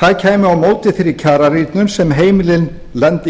það kæmi á móti þeirri kjararýrnun sem heimilin